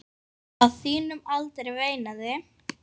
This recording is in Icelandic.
Á þínum aldri, veinaði